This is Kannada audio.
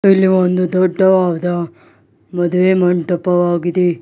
ಇಲ್ಲಿ ಒಂದು ದೊಡ್ಡದಾದ ಮದುವೆ ಮಂಟಪವಾಗಿದೆ.